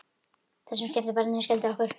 Það sem skemmti barninu skelfdi okkur.